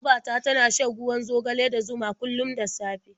Baba ta tana shan ruwan zogale da zuma kullum da safe.